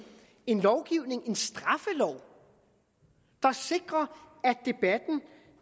en lovgivning en straffelov der sikrer